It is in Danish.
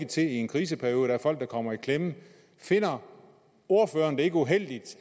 til i en kriseperiode der er folk der kommer i klemme finder ordføreren det ikke uheldigt